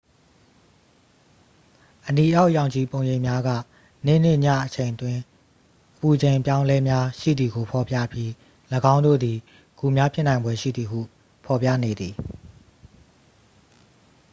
အနီအောက်ရောင်ခြည်ပုံရိပ်များက နေ့နှင့် ညအချိန်အတွင်း အပူချိန်အပြောင်းအလဲများရှိသည်ကို ဖော်ပြပြီး ၎င်းတို့သည် ဂူများဖြစ်နိုင်ဖွယ်ရှိသည်ဟု ဖော်ပြနေသည်